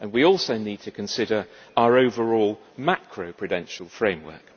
We also need to consider our overall macro prudential framework.